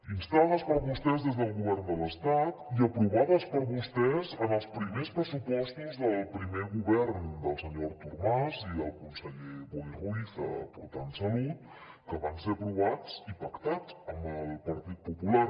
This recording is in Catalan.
instades per vostès des del govern de l’estat i aprovades per vostès en els primers pressupostos del primer govern del senyor artur mas i del conseller boi ruiz portant salut que van ser aprovats i pactats amb el partit popular